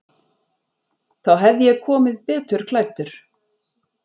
Þá hefði ég komið betur klæddur.